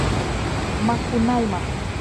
макунайма